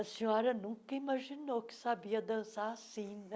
A senhora nunca imaginou que sabia dançar assim, né?